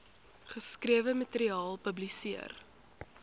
geskrewe materiaal publiseer